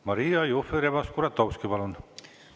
Maria Jufereva-Skuratovski, palun!